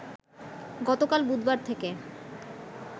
গতকাল বুধবার থেকে